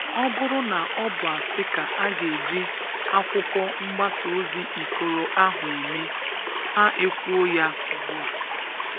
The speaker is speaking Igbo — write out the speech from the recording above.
Ọ bụrụ na ọ bụ asị ka a ga-eji akwụkwọ mgbasa ozi Ikoro ahụ eme, ha ekwuo ya ugbua.